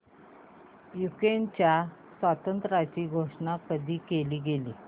युक्रेनच्या स्वातंत्र्याची घोषणा कधी केली गेली